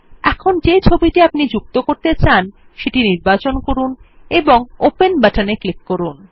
এখন যে ছবিটি আপনি যুক্ত করতে চান সেটি নির্বাচন করুন এবং ওপেন বাটনে ক্লিক করুন